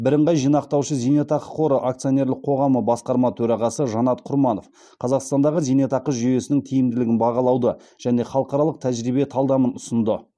бірыңғай жинақтаушы зейнетақы қоры акционерлік қоғамы басқарма төрағасы жанат құрманов қазақстандағы зейнетақы жүйесінің тиімділігін бағалауды және халықаралық тәжірибе талдамын ұсынды